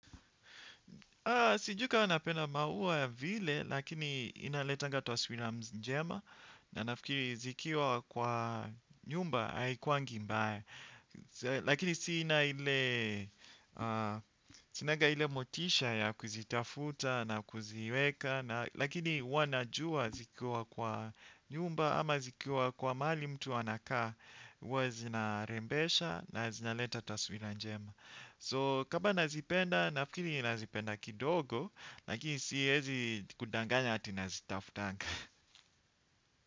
Sijui kama unapenda maua vile, lakini inaletanga taswira njema na nafikiri zikiwa kwa nyumba haikuwangi mbaya. Lakini sina ile motisha ya kuzitafuta na kuziweka lakini huwa najua zikiwa kwa nyumba ama zikiwa kwa mahali mtu anakaa huwa zinarembesha na zinaleta taswira njema. So kama nazipenda nafikiri nazipenda kidogo lakini siezi kudanganya ati nazitafutanga.